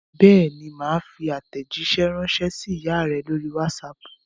Bẹ́ẹ̀ ni, mà á fi àtẹ̀jíṣẹ́ ránṣẹ́ sí ìyá rẹ lórí WhatsApp.